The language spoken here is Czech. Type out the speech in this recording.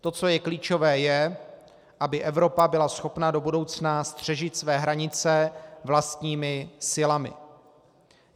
To, co je klíčové, je, aby Evropa byla schopna do budoucna střežit své hranice vlastními silami.